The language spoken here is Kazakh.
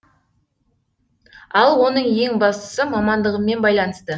ал оның ең бастысы мамандығыммен байланысты